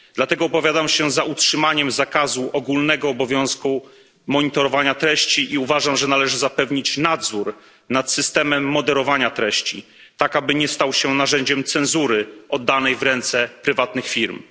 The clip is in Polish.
Dlatego opowiadam się za utrzymaniem zakazu ogólnego obowiązku monitorowania treści i uważam, że należy zapewnić nadzór nad systemem moderowania treści, tak aby nie stał się narzędziem cenzury oddanej w ręce prywatnych firm.